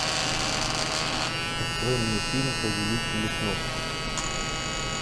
открой мне фильм повелители снов